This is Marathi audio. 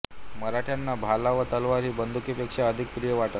मराठ्यांना भाला व तलवार ही बंदुकीपेक्षा अधिक प्रिय वाटत